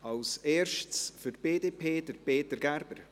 Als Erstes für die BDP, Peter Gerber.